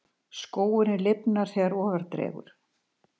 Skógurinn lifnar þegar ofar dregur.